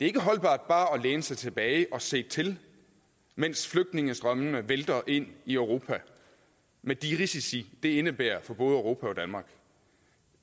ikke holdbart bare at læne sig tilbage og se til mens flygtningestrømmene vælter ind i europa med de risici det indebærer for både europa og danmark